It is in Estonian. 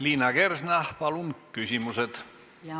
Liina Kersna, palun küsimused!